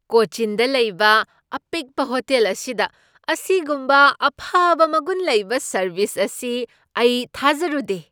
ꯀꯣꯆꯤꯟꯗ ꯂꯩꯕ ꯑꯄꯤꯛꯄ ꯍꯣꯇꯦꯜ ꯑꯁꯤꯗ ꯑꯁꯤꯒꯨꯝꯕ ꯑꯐꯕ ꯃꯒꯨꯟ ꯂꯩꯕ ꯁꯔꯕꯤꯁ ꯑꯁꯤ ꯑꯩ ꯊꯥꯖꯔꯨꯗꯦ ꯫